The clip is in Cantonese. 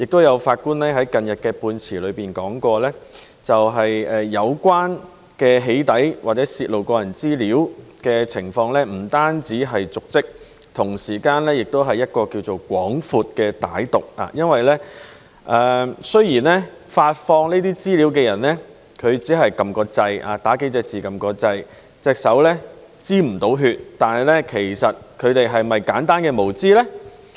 有法官近日在判詞裏提到，有關的"起底"或泄露個人資料的行為不單瀆職，同時其目的是更為廣闊和歹毒的，雖然發放資料的人只是輸入數個字然後按掣，手不沾血，但其實她是否出於簡單的無知呢？